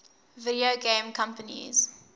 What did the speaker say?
video game companies